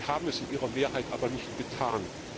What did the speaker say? Sie haben es in ihrer Mehrheit aber nicht getan.